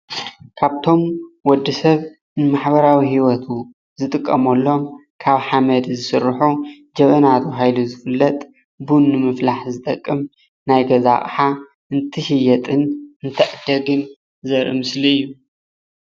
ካብቶም ወዲ ሰብ ንማሕበራዊ ሂወቱ ዝጥቀመሎም ካብ ሓመድ ዝስርሑ ጀበና ተባሂሉ ዝፍለጥ ቡን ንምፍላሕ ዝጠቅም ናይ ገዛ ኣቅሓ እንትሽየጥን እትዕደግን ዘርኢ ምስሊ እዩ፡፡